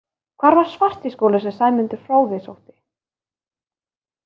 Hvar var Svartiskóli sem Sæmundur fróði sótti?